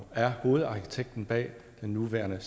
er hovedarkitekten bag den nuværende